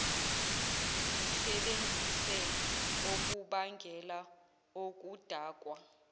zisebenzise okubangela okudakwa